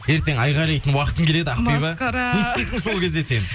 ертең айқайлайтын уақытың келеді ақбибиі масқара не істейсің сол кезде сен